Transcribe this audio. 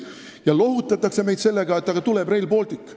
Meid lohutatakse sellega, et tuleb Rail Baltic.